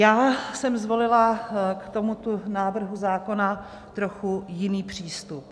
Já jsem zvolila k tomuto návrhu zákona trochu jiný přístup.